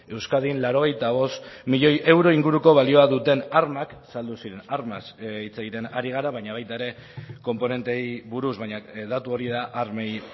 euskadin laurogeita bost milioi euro inguruko balioa duten armak saldu ziren armaz hitz egiten ari gara baina baita ere konponenteei buruz baina datu hori da armei